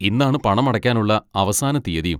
ഇന്നാണ് പണമടയ്ക്കാനുള്ള അവസാന തീയ്യതിയും.